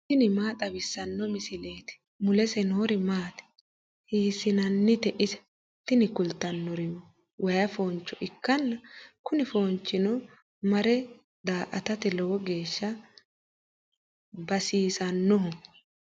tini maa xawissanno misileeti ? mulese noori maati ? hiissinannite ise ? tini kultannori way fooncho ikkanna kuni foonchino marre daa"atate lowo geeshsha basisannoho.